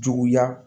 Juguya